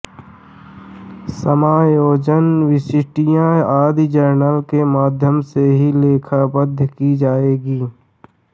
समायोजन प्रविष्टियां आदि जर्नल के माध्यम से ही लेखाबद्ध की जायेगी